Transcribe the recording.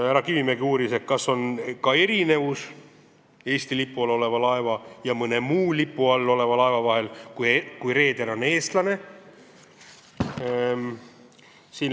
Härra Kivimägi uuris, kas on ka erinevusi Eesti lipu all oleva laeva ja mõne muu lipu all oleva laeva vahel, kui reeder on eestlane.